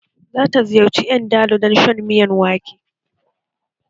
Za ta ziyarci Ndalu don shan miyan wake